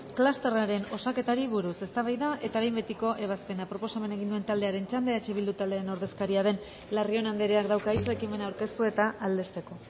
klusterraren osaketari buruz eztabaida eta behin betiko ebazpena proposamena egin duen taldearen txanda eh bildu taldearen ordezkaria den larrion andreak dauka hitza ekimena aurkeztu eta aldezteko